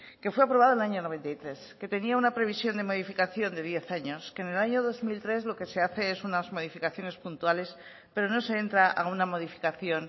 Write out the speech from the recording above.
que fue aprobado el año mil novecientos noventa y tres que tenía una previsión de modificación de diez años que en el año dos mil tres lo que se hace son unas modificaciones puntuales pero no se entra a una modificación